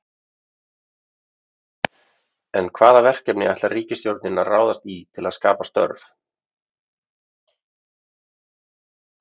En hvaða verkefni ætlar ríkisstjórnin að ráðast í til að skapa störf?